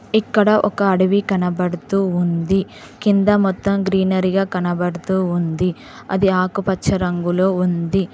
ఇక్కడ ఒక అడవి కనబడుతూ ఉంది కింద మొత్తం గ్రీనరీగ కనబడుతూ ఉంది అది ఆకుపచ్చ రంగులో ఉంది.